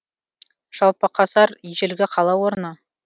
жалпақасар ежелгі қала орны